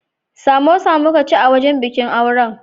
Samosa muka ci a wajen bikin auren.